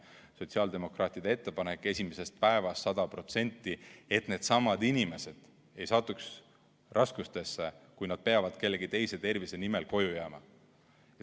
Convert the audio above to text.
Sotsiaaldemokraatide ettepanek on esimesest päevast 100%, et needsamad inimesed ei satuks raskustesse, kui nad peavad kellegi teise tervise nimel koju jääma.